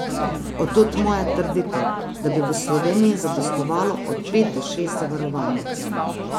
Od tod moja trditev, da bi v Sloveniji zadostovalo od pet do šest zavarovalnic.